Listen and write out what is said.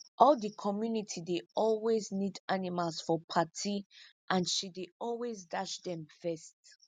all the community dey always need animals for party and she dey always dash them first